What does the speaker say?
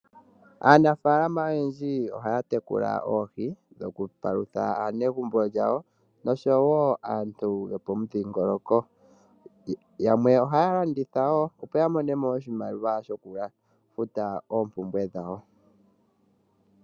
Aanafaalama oyendji ohaya tekula oohi dhoku palutha aanegumbo yawo noshowo aantu yopomudhingoloko, yamwe ohaya landitha woo opo yamone oshimaliwa shoku futa oompumbwe dhawo.